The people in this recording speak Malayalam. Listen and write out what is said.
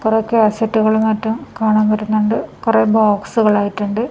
കുറെ കാസെറ്റുകളും മറ്റും കാണാൻ വരുന്നുണ്ട് കുറെ ബോക്സുകളായിട്ടുണ്ട് .